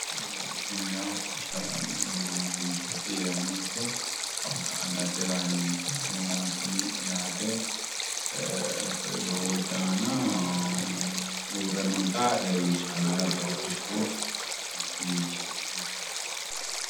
Kuni yawu hodhishshaho xaqqa'mineemmo makeenchooti. Yeemmo woyite kawa ka"a higate raa yineemmo kameelaati yaate. Koye doogote aana uurre noota leellishshanno yaate.